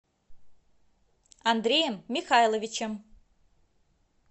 андреем михайловичем